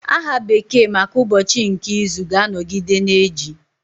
Aha bekee maka ụbọchị nke izu ga-anọgide na-eji